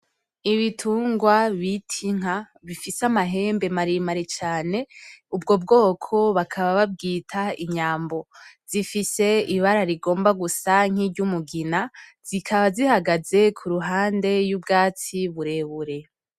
Ibitungwa bita inka bifise amahembe mare mare cane ubwo bwoko bakaba babwita imyambo, zifise ibara rigomba gusa nk'iryumugina. Zikaba zihagaze ku ruhande y'ubwatsi burebure.